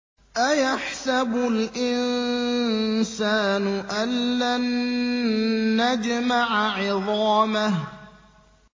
أَيَحْسَبُ الْإِنسَانُ أَلَّن نَّجْمَعَ عِظَامَهُ